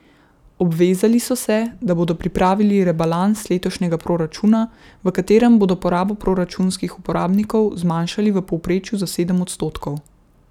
Obvezali so se, da bodo pripravili rebalans letošnjega proračuna, v katerem bodo porabo proračunskih uporabnikov zmanjšali v povprečju za sedem odstotkov.